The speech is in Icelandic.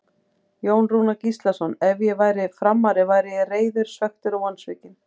Jón Rúnar Gíslason Ef ég væri Framari væri ég reiður, svekktur og vonsvikinn.